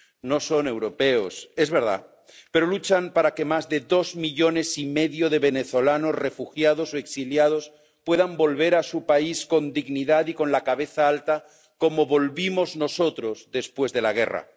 No son europeos, es verdad, pero luchan para que más de dos millones y medio de venezolanos refugiados o exiliados puedan volver a su país con dignidad y con la cabeza alta como volvimos nosotros después de la guerra.